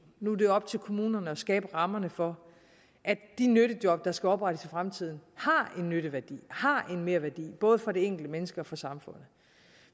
nu er det op til kommunerne at skabe rammerne for at de nyttejob der skal oprettes i fremtiden har en nytteværdi har en merværdi både for det enkelte menneske og for samfundet